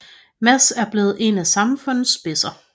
Mads er blevet en af samfundets spidser